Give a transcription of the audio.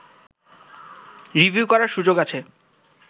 review করার সুযোগ আছে